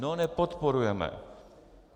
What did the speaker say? No, nepodporujeme.